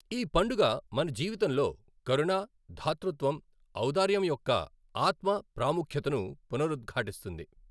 ఈ పండుగ మన జీవితంలో కరుణ, దాతృత్వం, ఔధార్యం యొక్క ఆత్మ, ప్రాముఖ్యతను పునరుద్ఘాటిస్తుంది.